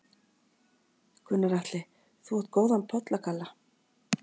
Gunnar Atli: Þú átt góðan pollagalla?